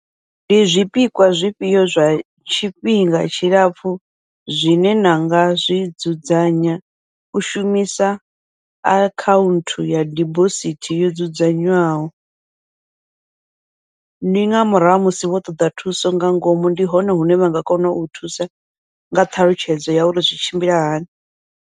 Ndi zwipikwa zwifhio zwa tshifhinga tshilapfhu zwine nanga zwidzudzanya u shumisa akhaunthu ya dibosithi yo dzudzanywaho, ndi nga murahu ha musi vho ṱoḓa thuso nga ngomu, ndi hone hune vha nga kona u thusa nga ṱhalutshedzo ya uri zwi tshimbila hani.